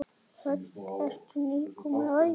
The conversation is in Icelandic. Hödd: Ertu nýkominn á æfingu?